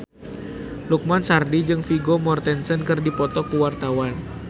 Lukman Sardi jeung Vigo Mortensen keur dipoto ku wartawan